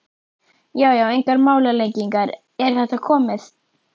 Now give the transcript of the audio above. Já já, engar málalengingar, er þetta komið?